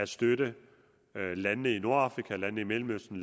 støtter landene i nordafrika landene i mellemøsten